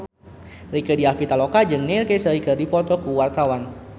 Rieke Diah Pitaloka jeung Neil Casey keur dipoto ku wartawan